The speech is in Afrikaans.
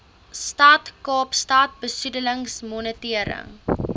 stad kaapstad besoedelingsmonitering